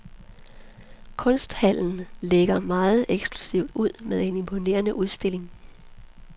Kunsthallen lægger meget eksklusivt ud med en imponerende udstilling.